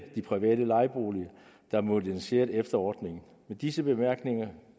de private lejeboliger der er moderniseret efter ordningen med disse bemærkninger